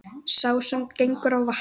Sá sem gengur á vatni,